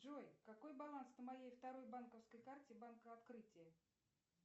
джой какой баланс на моей второй банковской карте банка открытие